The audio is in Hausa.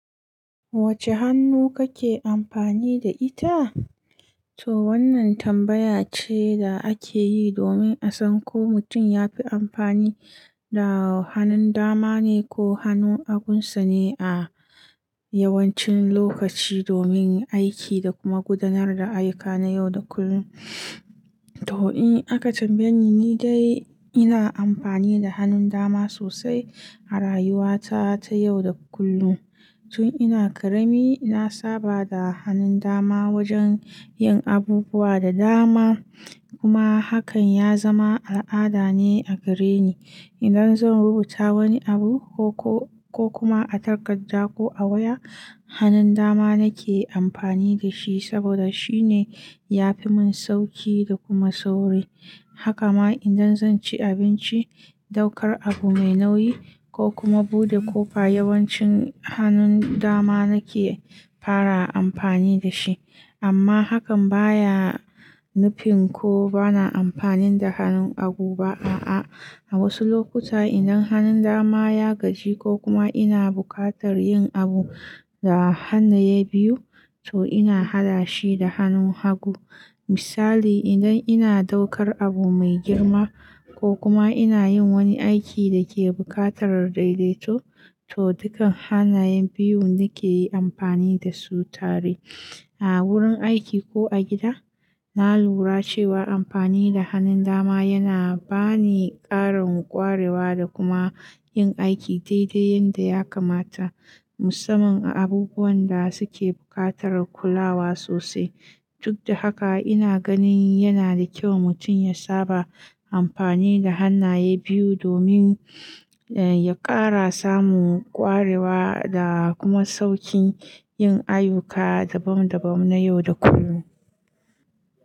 Wacce hannu kake amfani da ita? To wannan tambaya ce da ake yi domin a san ko mutum ya fi amfani da hannun dama ne ko hannun agunsa ne a yawancin lokaci domin aiki da kuma gudanar da ayyuka na yau da kullum. To in aka tambaye ni, ni dai ina amfani da hannun dama sosai a rayuwata ta yau da kullum. Tun ina ƙarami, na saba da hannun dama wajen yin abubuwa da dama kuma hakan ya zama al'ada ne a gare ni. Idan zan rubuta wani abu ko kuma a takarda ko a waya, hannun dama nake amfani da shi saboda shine ya fi mun sauƙi da kuma sauri. Haka ma idan zan ci abinci, ɗaukar abu mai nauyi ko kuma buɗe ƙofa, yawancin hannun dama nake fara amfani da shi. Amma hakan baya nufin ko bana amfani da hannun hagu ba a'a. A wasu lokuta, idan hannun dama ya gaji ko kuma ina buƙatar yin abu da hannaye biyu, to ina haɗa shi da hannun hagu. Misali, idan ina ɗaukar abu mai girma ko kuma ina yin wani aiki da ke buƙatar daidaito, to dukan hannaye biyun nake amfani da su tare. A wurin aiki ko a gida, na lura cewa amfani da hannun dama yana bani ƙarin ƙwarewa da kuma yin aiki daidai yadda ya kamata, musamman a abubuwan da suke buƙatar kulawa sosai. Duk da haka, ina ganin yana da kyau mutum ya saba amfani da hannaye biyu domin ya ƙara samu ƙwarewa da kuma sauƙin yin ayyuka dabam dabam na yau da kullum.